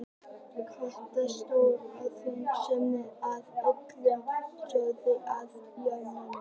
Kata, stór og þung, sneri rétt og Lilla stóð á járnunum.